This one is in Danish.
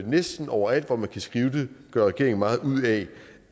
næsten overalt hvor man kan skrive det gør regeringen meget ud af